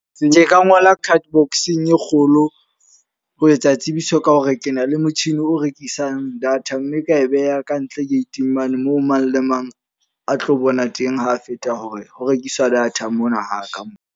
Ke ka ngola cardbox-eng e kgolo ho etsa tsebiso ka hore ke na le motjhini o rekisang data. Mme ka e beha ka ntle gate-ing mane moo mang le mang a tlo bona teng ha feta, hore ho rekiswa data mona haka mo.